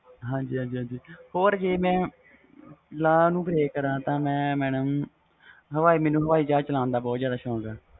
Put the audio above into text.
ਹਾਜੀ ਹਾਜੀ ਹੋਰ ਜੇ ਮੈਂ law ਨੂੰ ਪਰੇ ਕਰ ਤੇ madam ਮੈਨੂੰ ਹਾਵੀ ਜਹਾਜ ਚਲਣ ਦਾ ਬਹੁਤ ਜਿਆਦਾ ਸੌਕ ਵ